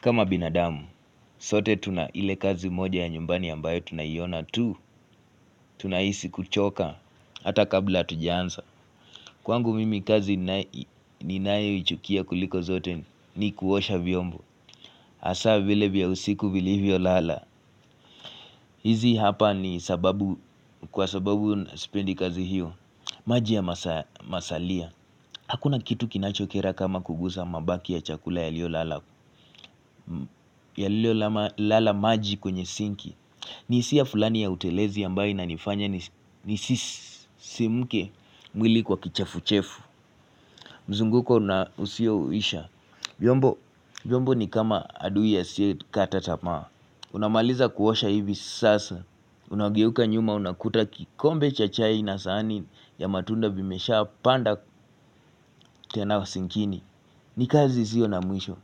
Kama binadamu, sote tuna ile kazi moja ya nyumbani ambayo tunaiona tu, tunahisi kuchoka, hata kabla hatujaanza. Kwangu mimi kazi ninayoichukia kuliko zote ni kuosha vyombo. Hasa vile vya usiku vilivyo lala. Hizi hapa ni sababu, kwa sababu sipendi kazi hiyo, maji ya masalia. Hakuna kitu kinachokera kama kugusa mabaki ya chakula yalio lala, yalio lala maji kwenye sinki. Nihisia fulani ya utelezi ambayo inanifanya nisisimke mwili kwa kichefuchefu. Mzunguko na usioisha viombo viombo ni kama adui asiye kata tamaa. Unamaliza kuosha hivi sasa. Unageuka nyuma unakuta kikombe cha chai na sahani ya matunda vimesha panda tena sinkini. Ni kazi isio na mwisho.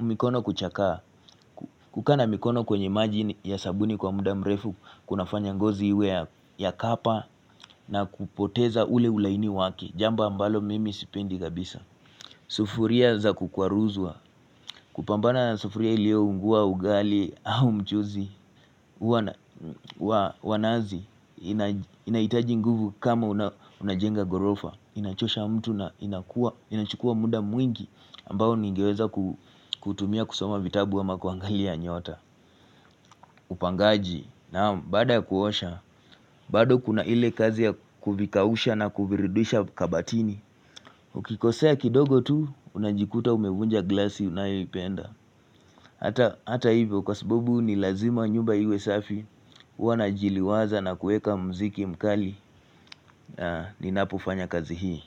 Mikono kuchakaa. Kukaa na mikono kwenye maji ya sabuni kwa muda mrefu, kunafanya ngozi iwe ya kapa na kupoteza ule ulaini wake, jambo ambalo mimi sipendi kabisa. Sufuria za kukwaruzua, kupambana na sufuria ilio unguwa ugali au mchuzi, wa nazi inahitaji nguvu kama unajenga ghorofa. Inachosha mtu na inakua, inachukua muda mwingi ambao ningeweza kutumia kusoma vitabu wa kuangalia nyota. Upangaji baada kuosha bado kuna ile kazi ya kuvikausha na kuvirudisha kabatini. Ukikosea kidogo tu unajikuta umevunja glasi unayoipenda. Hata hivyo kwa sababu ni lazima nyumba iwe safi huwa najiliwaza na kueka mziki mkali. Ninapofanya kazi hii.